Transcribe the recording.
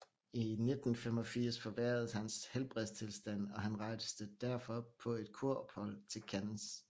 I 1885 forværredes hans helbredstilstand og han rejste derfor på et kurophold til Cannes